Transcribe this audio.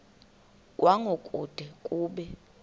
kwango kude kube